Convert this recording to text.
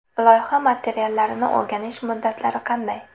Loyiha materiallarini o‘rganish muddatlari qanday?